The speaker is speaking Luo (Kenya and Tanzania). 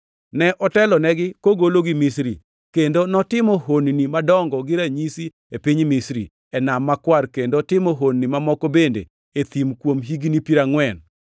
Ne otelonegi kogologi Misri, kendo notimo honni madongo gi ranyisi e piny Misri, e Nam Makwar, kendo timo honni mamoko bende e thim kuom higni piero angʼwen.